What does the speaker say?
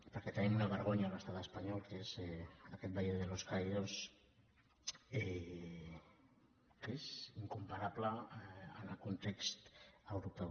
perquè tenim una vergonya a l’estat espanyol que és aquest valle de los caídos que és incomparable en el context europeu